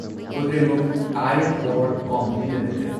Kudremukh iron ore company limited